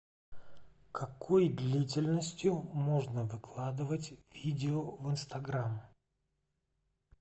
какой длительностью можно выкладывать видео в инстаграм